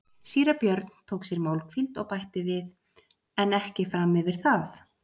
Síra Björn tók sér málhvíld og bætti við:-En ekki fram yfir það.